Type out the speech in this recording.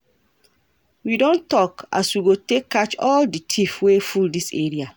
We don tok as we go take catch all di tiff wey full dis area.